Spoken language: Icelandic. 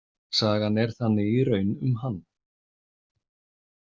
Sagan er þannig í raun um hann.